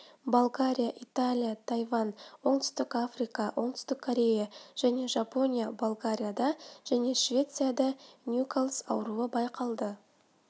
болгария италия тайвань оңтүстік африка оңтүстік корея және жапония болгарияда және швецияда ньюкасл ауруы байқалды